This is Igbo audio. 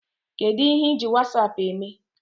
Kedụ ihe I ji wasaapụ eme?